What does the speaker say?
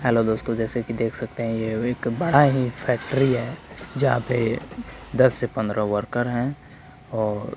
hello दोस्तों जैसे कि देख सकते हैं ये एक बड़ा ही फैक्ट्री है जहां पे दस से पंद्रह वर्कर हैं और--